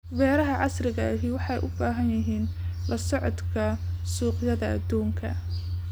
Beeraha casriga ahi waxay u baahan yihiin la socodka suuqyada adduunka.